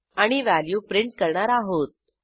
आणि value print करणार आहोत